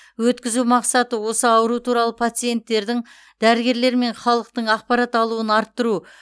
өткізу мақсаты осы ауру туралы пациенттердің дәрігерлер мен халықтың ақпарат алуын арттыру